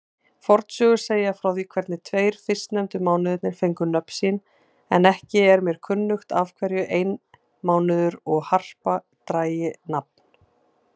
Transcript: Fornsögur segja frá því hvernig tveir fyrstnefndu mánuðirnir fengu nöfn sín, en ekki er mér kunnugt af hverju einmánuður og harpa dragi nafn.